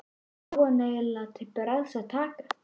Hvað á hann eiginlega til bragðs að taka?